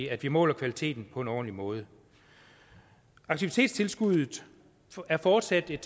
at vi måler kvaliteten på en ordentlig måde aktivitetstilskuddet er fortsat et